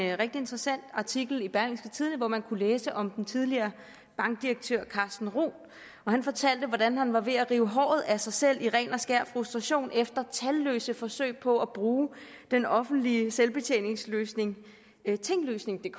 rigtig interessant artikel i berlingske tidende hvor man kunne læse om den tidligere bankdirektør carsten roth og han fortalte at han var ved at rive håret af sig selv i ren og skær frustration efter talløse forsøg på at bruge den offentlige selvbetjeningsløsning tinglysningdk